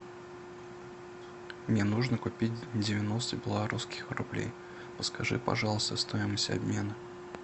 мне нужно купить девяносто белорусских рублей подскажи пожалуйста стоимость обмена